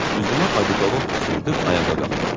Üzümə "odikolon" püskürdüüb ayağa qalxdım.